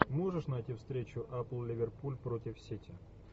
можешь найти встречу апл ливерпуль против сити